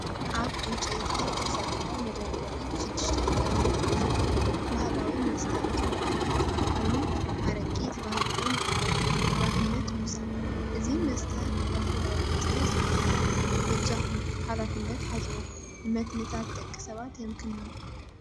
ኣብ ዕንጨይቲ ዝተሰርሐ መደርደሪ ሽዱሽተ ጥርሙዝ ብርጭቆ፡ ባህላዊ መስተ ኢትዮጵያን ኤርትራን ኮይኑ፡ "ኣረቂ" ተባሂሉ'ውን ይፍለጥ። ሓላፍነት ምውሳድ፦ እዚ መስተ ኣልኮላዊ መስተ ዝሓዘ እዩ፤ በጃኹም ብሓላፍነት ሓዝዎ፣ ንመትንታት ደቂ ሰባት የምክኖ!